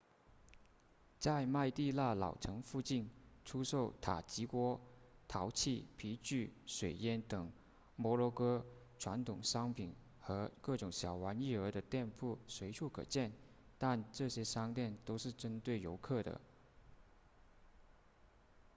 在麦地那老城附近出售塔吉锅陶器皮具水烟等摩洛哥传统商品和各种小玩意儿的店铺随处可见但这些商店都是针对游客的